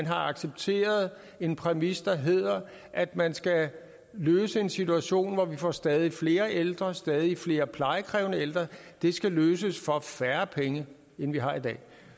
har accepteret en præmis der hedder at man skal løse en situation hvor vi får stadig flere ældre stadig flere plejekrævende ældre og det skal løses for færre penge end vi har i dag